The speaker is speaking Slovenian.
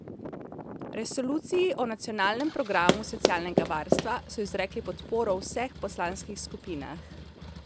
Resoluciji o nacionalnem programu socialnega varstva so izrekli podporo v vseh poslanskih skupinah.